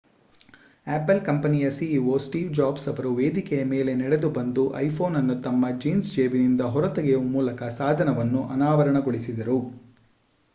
apple ಕಂಪನಿಯ ceo Steve Jobs ಅವರು ವೇದಿಕೆಯ ಮೇಲೆ ನಡೆದುಬಂದು ಐಫೋನ್ ಅನ್ನು ತಮ್ಮ ಜೀನ್ಸ್ ಜೇಬಿನಿಂದ ಹೊರತೆಗೆಯುವ ಮೂಲಕ ಸಾಧನವನ್ನು ಅನಾವರಣಗೊಳಿಸಿದರು